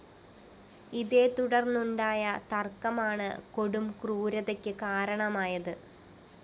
ഇതേതുടര്‍ന്നുണ്ടായ തര്‍ക്കമാണ് കൊടും ക്രൂരതക്ക് കാരണമായത്